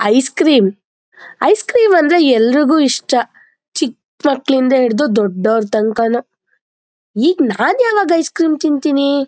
Ice cream ice cream ಅಂದ್ರೆ ಎಲ್ಲರಿಗು ಇಷ್ಟ ಚಿಕ್ ಮಕ್ಕಳಿಂದ ಹಿಡಿದು ದೊಡ್ಡವರ ತನಕನು ಈಗ ನಾನ್ ಯಾವಾಗ ಐಸ್ ಕ್ರೀಮ್ ತಿಂತೀನಿ.